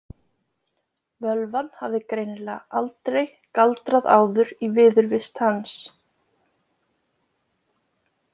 Völvan hafði greinilega aldrei galdrað áður í viðurvist hans.